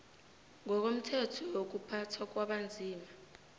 ngokomthetho wokuphathwa kwabanzima